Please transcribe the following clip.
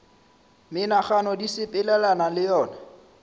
menagano di sepelelana le yona